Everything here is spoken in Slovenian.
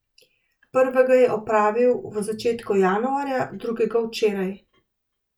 Prvega je opravil v začetku januarja, drugega včeraj.